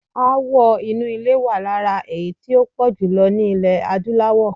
Aáwọ̀ inú ilé wà lára èyí tí ó pọ̀ jùlọ ní ilẹ̀ Adúláwọ̀.